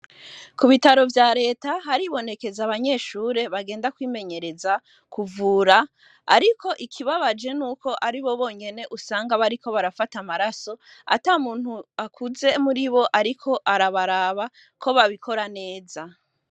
Ku bitaro vya Reta, haribonekeza abanyeshure bagenda kwimenyereza kuvura, ariko ikibabaje ni uko ari bo bonyene usanga bariko barafata amaraso, ata muntu akuze muri bo ariko arabaraba, ko babikora neza.